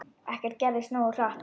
Ekkert gerðist nógu hratt!